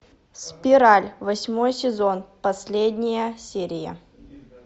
спираль восьмой сезон последняя серия